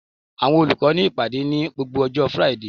Àwọn olùkọ́ ní ìpàdé ní gbogbo ọjọ́ Friday